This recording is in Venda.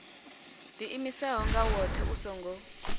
ḓiimisaho nga woṱhe u songo